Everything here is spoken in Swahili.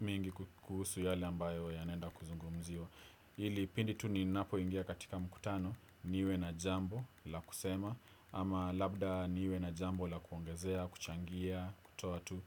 mingi kuhusu yale ambayo yanaenda kuzungumziwa. Hili pindi tu ninapo ingia katika mkutano niwe na jambo la kusema ama labda niwe na jambo la kuongezea, kuchangia, kutoa tu.